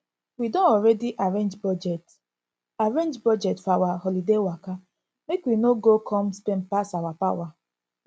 we don already arrange budget arrange budget for our holiday waka make we no go come spend pass our power